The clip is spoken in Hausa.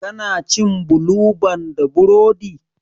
Ka na cin bulu ban da burodi?